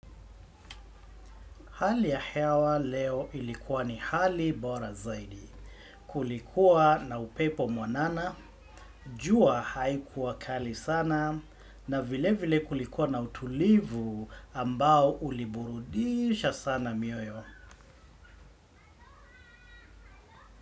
Hali ya hewa leo ilikuwa ni hali bora zaidi. Kulikuwa na upepo mwanana, jua haikuwa kali sana, na vile vile kulikuwa na utulivu ambao uliburudisha sana mioyo.